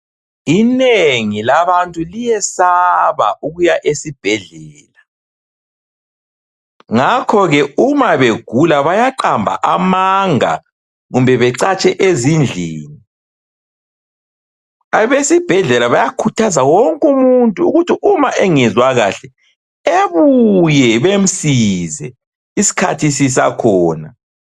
Inengi labantu liyesaba ukuya esibhedlela ,ngakho ke uma begula bayaqamba amanga kumbe becatshe ezindlini. Abesibhedlela bayakhuthaza wonke umuntu ukuthi uma engezwa kahle ebuye bemsize isikhathi sisakhona.